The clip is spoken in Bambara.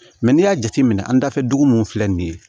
Mɛ n'i y'a jateminɛ an dafɛ dugu min filɛ nin ye